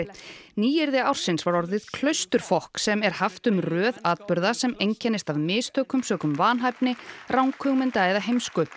nýyrði ársins var orðið sem er haft um röð atburða sem einkennist af mistökum sökum vanhæfni ranghugmynda eða heimsku